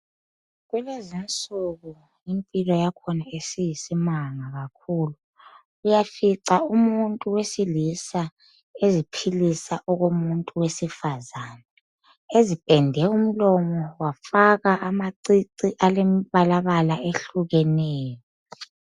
Kulezinsuku impilo yakhona isiyisimanga kakhulu . Uyafica umuntu owesilisa eziphilisa okomuntu wesifazana . Ezipende umlomo wafaka amacici embalabala ehlukeneyo